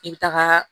I bɛ taga